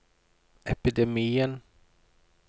epidemien